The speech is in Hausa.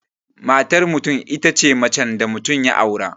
Matar mutum itace macen da mutum ya aura